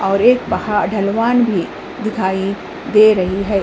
और एक पहा ढलवान भी दिखाई दे रही है।